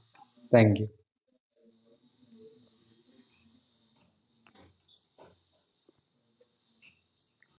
thank you